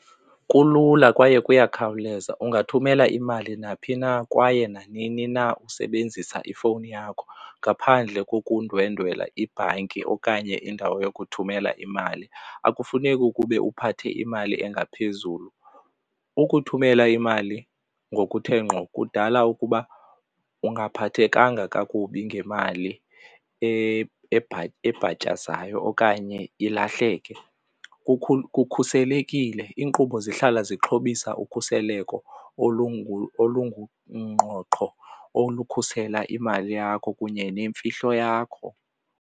Kulula kwaye kuyakhawuleza, ungathumela imali naphi na kwaye nanini na usebenzisa ifowuni yakho ngaphandle kokundwendwela ibhanki okanye indawo yokuthumela imali. Akufuneki ube uphathe imali engaphezulu. Ukuthumela imali ngokuthe ngqo kudala ukuba ungaphathekanga kakubi ngemali ebhatyazayo okanye ilahleke, kukhuselekile iinkqubo zihlala zixhobisa ukhuseleko olungungqoqho olukhasela imali yakho kunye nemfihlo yakho.